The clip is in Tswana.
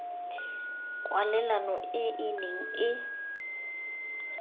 kwalelano e e neng e